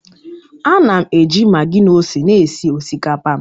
Ana m eji maggi na ose na-esi osikapa m